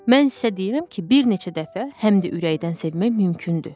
Mən isə deyirəm ki, bir neçə dəfə həm də ürəkdən sevmək mümkündür.